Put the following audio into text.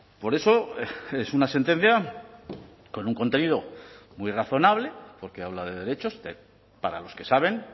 por eso es una sentencia con un contenido muy razonable porque habla de derechos para los que saben